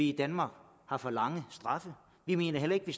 i danmark er for lange straffe vi mener heller ikke